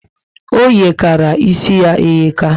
O yekara ísì ya eyeka